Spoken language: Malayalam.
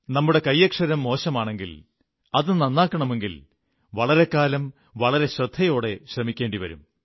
നമ്മുടെ കൈയ്യക്ഷരം മോശമാണെങ്കിൽ അത് നന്നാക്കണമെങ്കിൽ വളരെക്കാലം വളരെ ശ്രദ്ധയോടെ ശ്രമിക്കേണ്ടി വരും